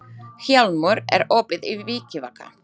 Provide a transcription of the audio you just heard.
Hjálmur, er opið í Vikivaka?